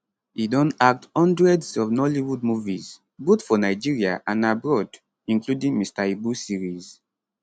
e don act hundreds of nollywood movies both for nigeria and abroad including mr ibu series